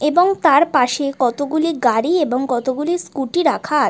এবং তার পাশে কতগুলি গাড়ি এবং কতগুলি স্কুটি রাখার--